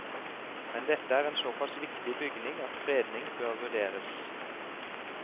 Men dette er en såpass viktig bygning at fredning bør vurderes.